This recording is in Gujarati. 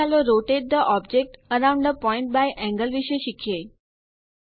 આગળ ચાલો rotate the object around a point by angle વિષે શીખીએ